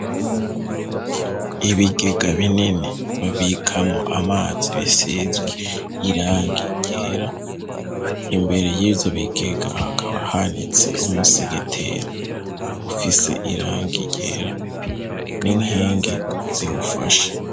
Ibigega binini babikamwo amazi bisizwe irangi ryera imbere y'ivyobigega hakaba hanitse umusegetera ufise irangi ryera n'inkingi ziwufashe.